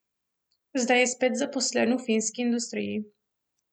Zdaj je spet zaposlen v filmski industriji.